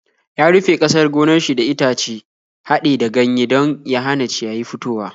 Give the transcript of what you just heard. Ya rufe ƙasar gonar shi da itace haɗe da ganyaye don ya hana ciyayi fitowa.